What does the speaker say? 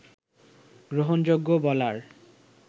গ্রহণযোগ্য বলার